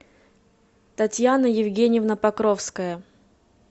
татьяна евгеньевна покровская